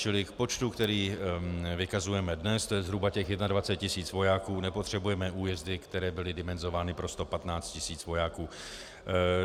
Čili v počtu, který vykazujeme dnes, to je zhruba těch 21 tisíc vojáků, nepotřebujeme újezdy, které byly dimenzovány pro 115 tisíc vojáků.